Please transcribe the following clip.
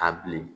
Ka bilen